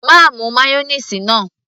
má mu mayonnaise náà